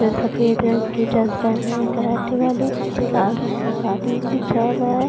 सफेद रंग की ड्रेस पेहने है कराटे वाली पीछे लाल रंग कार्टिन बिछाया हुआ है।